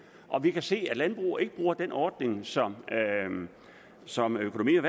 og vi kan se at landbruget ikke bruger den ordning som som økonomi og